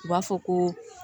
U b'a fɔ ko